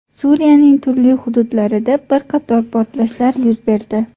Suriyaning turli hududlarida bir qator portlashlar yuz berdi.